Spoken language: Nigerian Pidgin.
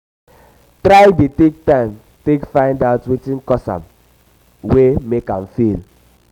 try dey take time um take find um out wetin cause am wey mek am fail